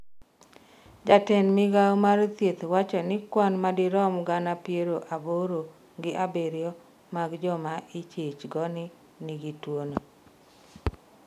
jatend migawo mar thieth wacho ni kwan madirom gana piero aboro gi abiriyo mag joma ichich go ni nigi tuono